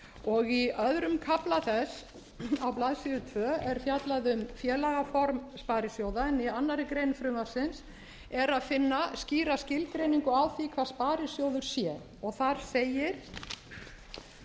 fimm í öðrum kafla þess á blaðsíðu tvö er fjallað um félagaform sparisjóða en í annarri grein frumvarpsins er að finna skýr skilgreiningu á því hvað sparisjóður sé þar segir